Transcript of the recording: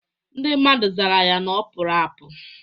Ndị mmadụ zara ya na ọ pụrụ apụ